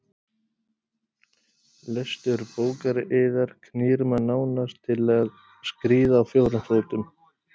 Lestur bókar yðar knýr mann nánast til að skríða á fjórum fótum.